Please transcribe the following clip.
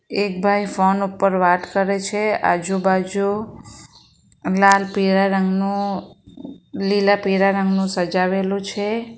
એક ભાઈ ફોન ઉપર વાત કરે છે આજુબાજુ લાલ પીરા રંગનુ લીલા પીરા રંગનુ સજાવેલું છે.